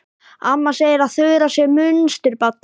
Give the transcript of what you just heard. Amma segir að Þura sé munsturbarn.